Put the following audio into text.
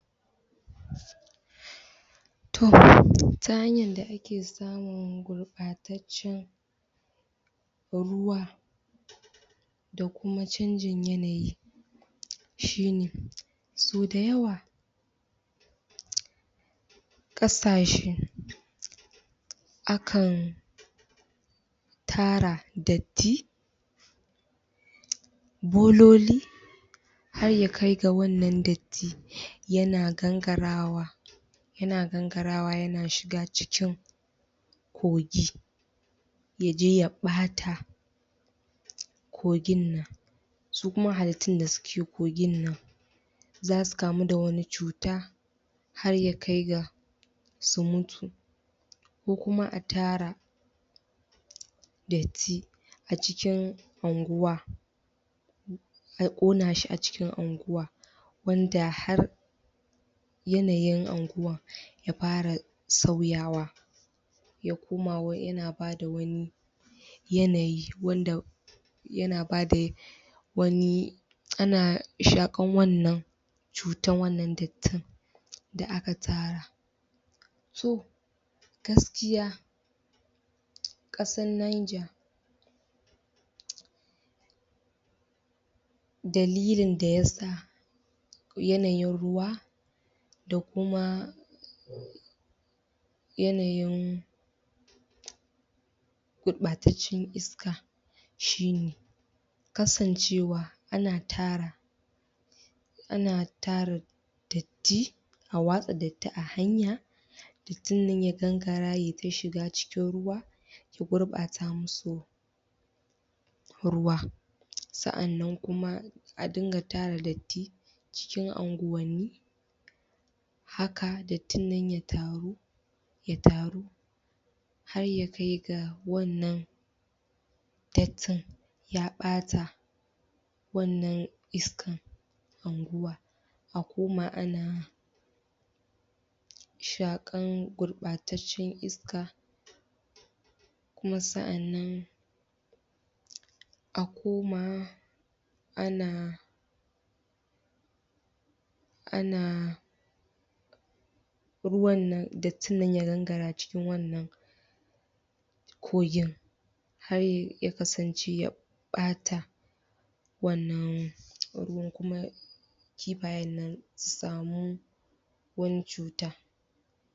To, ta hanyar da ake samun gurɓataccen ruwa, da kuma canjin yanayi shi ne, sau da yawa ƙasashe akan tara datti bololi har ya kai ga wannan datti yana gangarawa yana ganagarawa yana shiga cikin kogi ya je ya ɓata kogin nan Su kuma halittun da suke cikin kogin nan za su kamu da wani cuta har ya kai ga su mutu ko kuma a tara datti a cikin unguwa a ƙona shi a cikin unguwa, wanda har yanayin unguwar ya fara sauyawa ya koma yana ba da wani yanayi wanda yana ba da wani an shaƙar wannan cutar wannan dattin da aka tara So, gaskiya ƙasar Niger dalilin da ya sa yanayin ruwa da kuma yanayin gurɓataccen iska shi ne kasancewa ana tara ana tara datti; a watsa datti a hanya dattin nan ya gangara ya yi ta shiga cikin ruwa, ya gurɓata musu ruwa Sa'annan kuma a ringa tara datti cikin unguwanni haka dattin nan ya taru, ya taru har ya kai ga wannan dattin ya ɓata wannan iskar unguwa, a koma ana shaƙar gurɓataccen iska kuma sa'annan a koma ana ana ruwan nan, dattin nan ya gangara cikin wannan kogin. Har ya kasance ya ɓata wannan ruwan kuma kifayen nan su samu wani cuta.